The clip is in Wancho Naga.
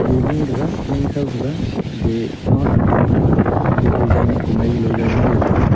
e leh taga leh khaw thaga ge ma fitting pa thaga ye design ne komai galo zau nganley taga.